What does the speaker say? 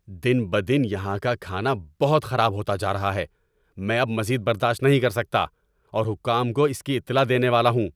دن بدن یہاں کا کھانا بہت خراب ہوتا جا رہا ہے۔ میں اب مزید برداشت نہیں کر سکتا اور حکام کو اس کی اطلاع دینے والا ہوں۔